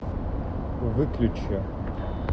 выключи